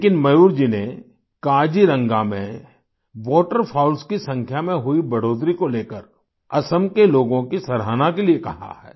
लेकिन मयूर जी ने काजीरंगा में वाटरफाउल्स वॉटरफाउल्स की संख्या में हुई बढ़ोतरी को लेकर असम के लोगों की सराहना के लिए कहा है